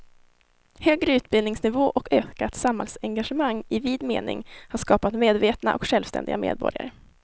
Högre utbildningsnivå och ökat samhällsengagemang i vid mening har skapat medvetna och självständiga medborgare.